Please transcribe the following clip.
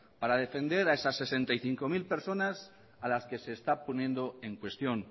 para defender a esas sesenta y cinco mil personas a las que se está poniendo en cuestión